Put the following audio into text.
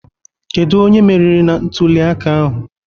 Kedu onye merịrị na ntuli aka ahụ?